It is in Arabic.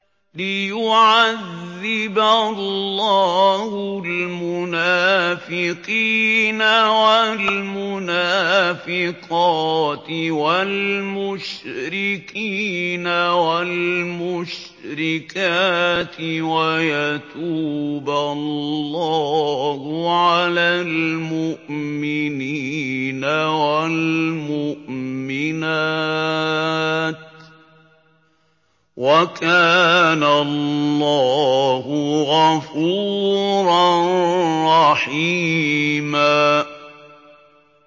لِّيُعَذِّبَ اللَّهُ الْمُنَافِقِينَ وَالْمُنَافِقَاتِ وَالْمُشْرِكِينَ وَالْمُشْرِكَاتِ وَيَتُوبَ اللَّهُ عَلَى الْمُؤْمِنِينَ وَالْمُؤْمِنَاتِ ۗ وَكَانَ اللَّهُ غَفُورًا رَّحِيمًا